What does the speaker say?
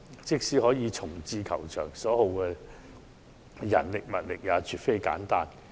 即使可以重置球場，所耗的人力物力也絕不簡單。